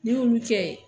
N'i y'olu kɛ